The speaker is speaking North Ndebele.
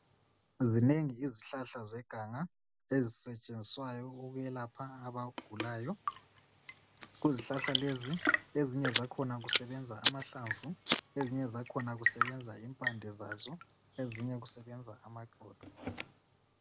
Zinengi izihlahla zeganga ezisetshenziswayo ukwelapha abagulayo kuzihlahla lezi ezinye zakhona kusebenza amahlamvu ezinye zakhona kusebenza impande zazo ezinye kusebenza amaxolo